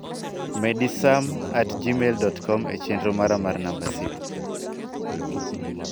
Medi sam@gmail.com e chenro mara mar namba simo.